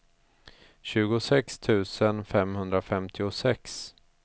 tjugosex tusen femhundrafemtiosex